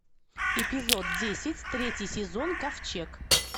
эпизод десять третий сезон ковчег